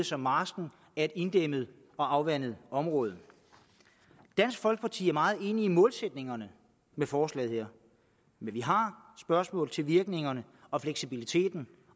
som marsken er et inddæmmet og afvandet område dansk folkeparti er meget enig i målsætningerne med forslaget her men vi har spørgsmål til virkningerne og fleksibiliteten